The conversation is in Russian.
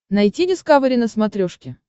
найти дискавери на смотрешке